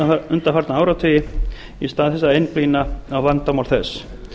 undanfarna áratugi í stað þess að einblína á vandamál þess